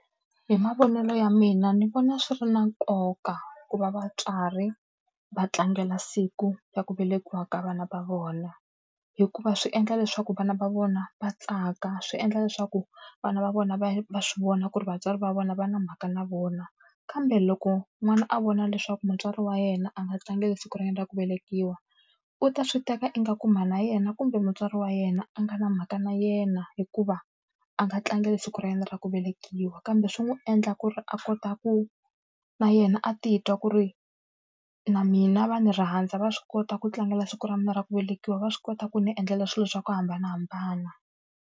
Hi mavonelo ya mina ni vona swi ri na nkoka ku va vatswari va tlangela siku ra ku velekiwa ka vana va vona, hikuva swi endla leswaku vana va vona va tsaka, swi endla leswaku vana va vona va va swi vona ku ri vatswari va vona va na mhaka na vona. Kambe loko n'wana a vona leswaku mutswari wa yena a nga tlangeli siku ra yena ra ku velekiwa, u ta swi teka ingaku mhana yena kumbe mutswari wa yena a nga na mhaka na yena hikuva, a nga tlangeli siku ra yena ra ku velekiwa. Kambe swi n'wi endla ku ri a kota ku na yena a titwa ku ri na mina va ni rhandza va swi kota ku tlangela siku ra mina ra ku velekiwa, va swi kota ku ni endlela swilo swa ku hambanahambana.